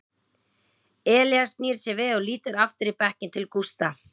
Elías snýr sér við og lítur aftur í bekkinn til Gústa.